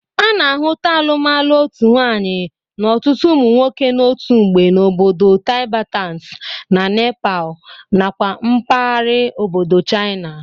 A na-ahụta alụmalụ otu nwaanyị n'ọtụtụ ụmụ nwoke n'otu mgbe n'obodo Tibetans na Nepal nakwa mbagara obodo China.